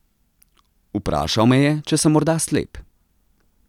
Vprašal me je, če sem morda slep.